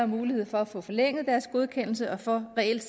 mulighed for at få forlænget deres godkendelse og for reelt